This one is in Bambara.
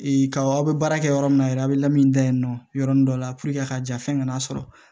kaw aw bɛ baara kɛ yɔrɔ min na yɛrɛ a bɛ lami da yen nɔ yɔrɔnin dɔ la a ka jan fɛn kana sɔrɔ